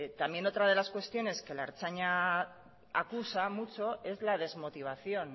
también otra de las cuestiones que la ertzaintza acusa mucho es la desmotivación